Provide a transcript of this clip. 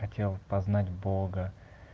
хотел познать бога